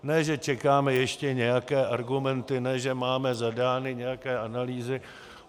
Ne že čekáme ještě nějaké argumenty, ne že máme zadány nějaké analýzy.